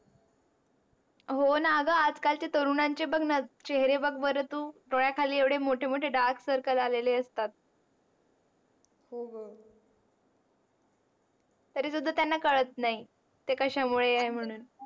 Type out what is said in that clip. होणा ग आज कालच्या तरूणांचे बग णा चेहेरे बग बर तू डोळ्या खाली येवडे मोठे मोठे dark circle आलेले असतात, हो ग तरी सुद्धा त्यांना कळत नाही. ते कस्या मुळे आहे म्हणून